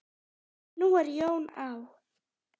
Nú er Jón á